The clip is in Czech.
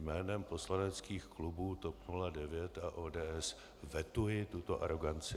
Jménem poslaneckých klubů TOP 09 a ODS vetuji tuto aroganci.